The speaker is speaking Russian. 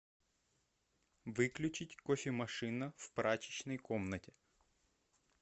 выключить кофемашина в прачечной комнате